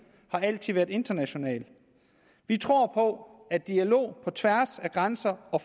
har altid været international vi tror på at dialog på tværs af grænser og